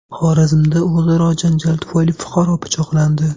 Xorazmda o‘zaro janjal tufayli fuqaro pichoqlandi.